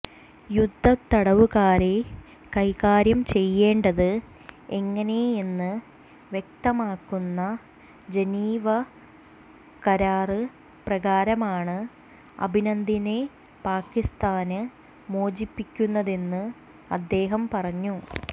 യുദ്ധത്തടവുകാരെ കൈകാര്യം ചെയ്യേണ്ടത് എങ്ങനെയെന്ന് വ്യക്തമാക്കുന്ന ജനീവ കരാര് പ്രകാരമാണ് അഭിനന്ദനെ പാകിസ്താന് മോചിപ്പിക്കുന്നതെന്ന് അദ്ദേഹം പറഞ്ഞു